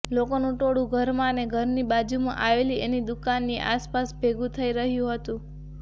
લોકોનું ટોળું ઘરમાં અને ઘરની બાજુમાં આવેલી એની દુકાનની આસપાસ ભેગું થઇ રહ્યું હતું